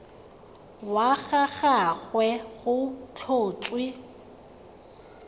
wa ga gagwe go tlhotswe